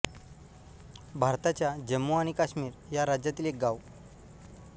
भारताच्या जम्मू आणि काश्मीर या राज्यातील एक गाव